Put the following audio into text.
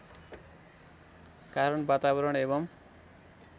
कारण वातावरण एवं